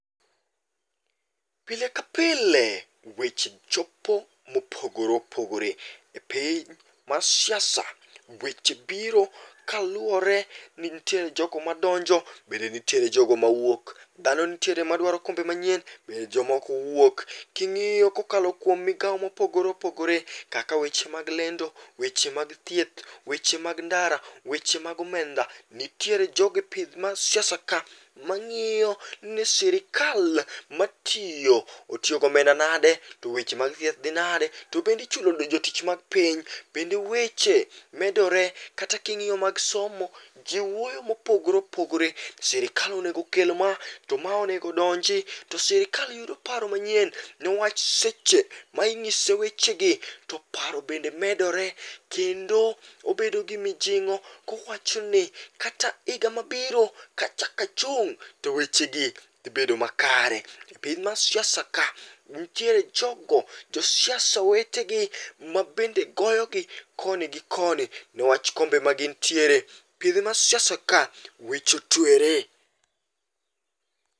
Pile kapile weche chopo mopogore opogore. E piny mar siasa weche biro kaluwore ni ntiere jogo madonjo, bende ntiere jogo mawuok. Dhano ntiere madwaro kombe manyien, bende moko wuok. King'io kokalo kuom migao mopogore opogore kaka weche mag lendo, weche mag thieth, wech mag ndara, weche mag omeda, nitiere ma siasa ka mang'io ni sirikal matio otio gomenda nade, to weche mag thieth dhi nade, to bende ichulo jotich mag piny, bende weche medore. Kata king'io mag somo jii wuoyo mopogore oopogore. Sirikal onegokel ma, to ma onego donji, to sirkal yudo paro manyien, newach seche maing'ise wechegi to paro bende medore, kendo obedo gi mojing'o kowachoni kata iga mabiro kachaka chung' to wechegi dhi bedo makare. E piny mar siasa ka, nitiere jogo josiasa wetegi mabende goyogi koni gi koni newach kombe magin tiere. mar siasaka, weche otwere.